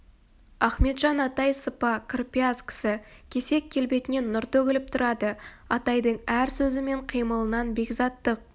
ахметжан атай сыпа кірпияз кісі кесек келбетінен нұр төгіліп тұрады атайдың әр сөзі мен қимылынан бекзаттық